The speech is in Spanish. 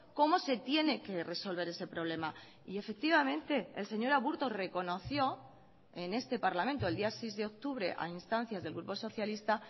cómo se tiene que resolver ese problema y efectivamente el señor aburto reconoció en este parlamento el día seis de octubre a instancias del grupo socialista